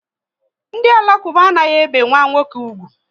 Ndị Alakuba anaghị ebe nwa nwoke úgwù